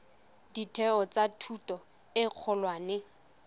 ditheo tsa thuto e kgolwane